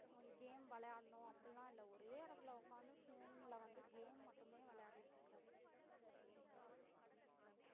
game விளையாடணும் அப்படிலாம் இல்ல ஒரே இடத்துல உட்கார்ந்து phone ல வந்து game மட்டுமே விளையாடிட்டு இருக்கோம்